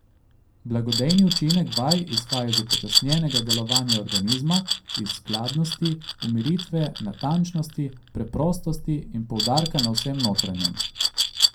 Blagodejni učinek vaj izhaja iz upočasnjenega delovanja organizma, iz skladnosti, umiritve, natančnosti, preprostosti in poudarka na vsem notranjem.